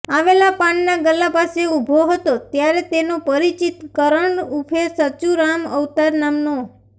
આવેલા પાનના ગલ્લા પાસે ઉભો હતો ત્યારે તેનો પરિચીત કરણ ઉર્ફે સચુ રામ અવતાર નામનો